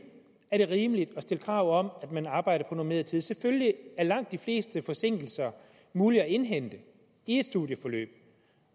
er rimeligt at stille krav om at man arbejder på normeret tid selvfølgelig er langt de fleste forsinkelser mulige at indhente i et studieforløb